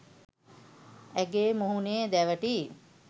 ඇගේ මුහුණේ දැවටී